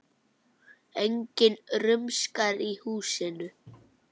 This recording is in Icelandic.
Enginn rumskar í húsinu.